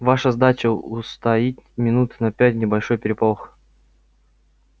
ваша задача устроить минут на пять небольшой переполох